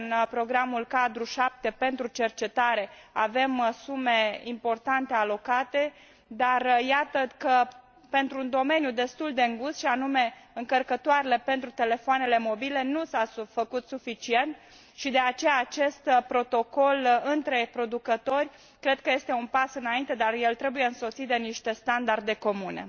în Programul cadru 7 pentru cercetare avem sume importante alocate, dar iată că, pentru un domeniu destul de îngust, și anume încărcătoarele pentru telefoanele mobile, nu s a făcut suficient, și de aceea acest protocol între producători cred că este un pas înainte, dar el trebuie însoțit de niște standarde comune.